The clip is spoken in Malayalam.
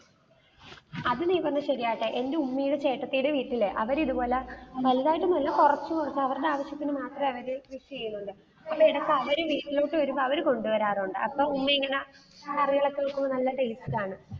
അതു നീ പറഞ്ഞത് ശരിയാട്ടാ എന്റെ ഉമ്മിടെ ചേട്ടത്തിടെ വീട്ടില്, അവര് ഇതുപോലെ, വലുതായിട്ടൊന്നും അല്ല കുറച്ചു മാത്രം, അവരുടെ ആവശ്യത്തിന് മാത്രമായിട്ട് കൃഷിചെയ്യുന്നുണ്ട്. ഇടയ്ക്ക് അവര് വീട്ടിലോട്ടു വരുമ്പ അവര് കൊണ്ടു വരാറുണ്ട്, അപ്പ ഉമ്മി ഇങ്ങന curry കളൊക്കെ വെക്കുമ്പോൾ നല്ല taste ആണ്